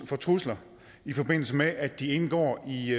for trusler i forbindelse med at de indgår i